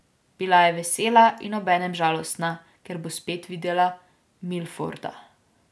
Bila je vesela in obenem žalostna, ker bo spet videla Milforda.